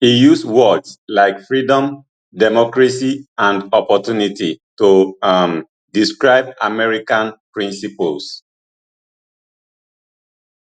e use words like freedom democracy and opportunity to um describe american principles